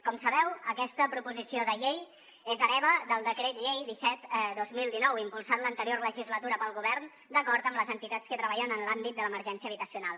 com sabeu aquesta proposició de llei és hereva del decret llei disset dos mil dinou impulsat l’anterior legislatura pel govern d’acord amb les entitats que treballen en l’àmbit de l’emergència habitacional